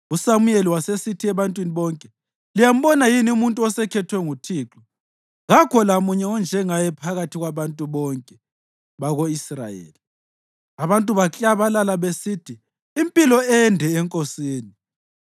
USamuyeli wasesithi ebantwini bonke, “Liyambona yini umuntu osekhethwe nguThixo? Kakho lamunye onjengaye phakathi kwabantu bonke bako-Israyeli.” Abantu baklabalala besithi, “Impilo ende enkosini!”